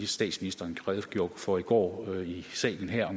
statsministeren redegjorde for i går i salen her